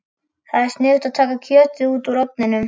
Þá er sniðugt að taka kjötið út úr ofninum.